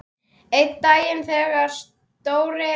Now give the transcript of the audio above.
Einn dag þegar Stóri